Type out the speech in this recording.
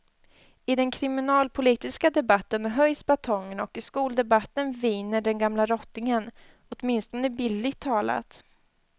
I den kriminalpolitiska debatten höjs batongerna och i skoldebatten viner den gamla rottingen, åtminstone bildligt talat.